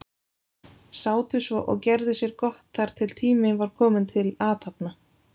Sátu svo og gerðu sér gott þar til tími var kominn til athafna.